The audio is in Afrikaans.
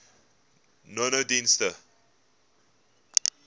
nonedienste